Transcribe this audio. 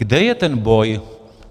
Kde je ten boj?